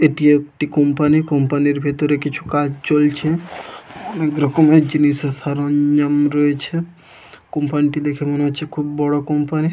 এটি একটি company. Company এর ভেতরে কিছু কাজ চলছে। অনেক রকমের জিনিস সরঞ্জাম রয়েছে। কোম্পানিটি দেখে মনে হচ্ছে খুব বড় কোম্পানি।